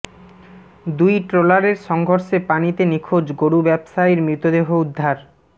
দুই ট্রলারের সংঘর্ষে পানিতে নিখোঁজ গরু ব্যবসায়ীর মৃতদেহ উদ্ধার